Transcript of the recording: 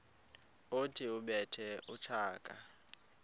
othi ubethe utshaka